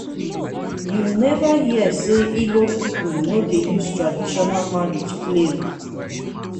you neva hear sey ibo pipu no dey use traditional marriage play o.